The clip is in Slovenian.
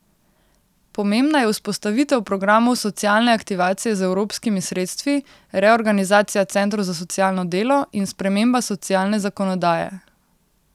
Pomembna je vzpostavitev programov socialne aktivacije z evropskimi sredstvi, reorganizacija centrov za socialno delo in sprememba socialne zakonodaje.